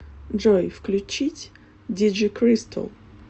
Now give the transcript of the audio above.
джой включить диджикристал